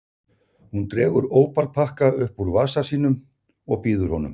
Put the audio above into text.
Hún dregur ópal-pakka upp úr vasa sínum og býður honum.